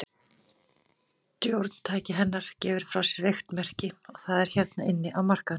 Stjórntæki hennar gefur frá sér veikt merki, og það er hérna inni á markaðnum.